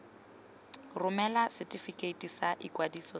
romela setefikeiti sa ikwadiso sa